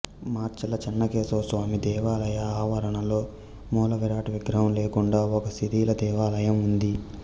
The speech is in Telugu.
మాచర్ల చెన్నకేశవ స్వామి దేవాలయ ఆవరణలో మూలవిరాట్ విగ్రహం లేకుండా ఒక శిథిల దేవాలయం ఉంది